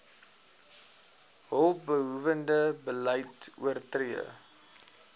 hulpbehoewende beleid oortree